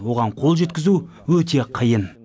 оған қол жеткізу өте қиын